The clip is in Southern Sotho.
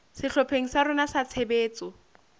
sehlopheng sa rona sa tshebetso